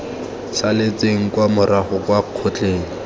saletseng kwa morago kwa kgotleng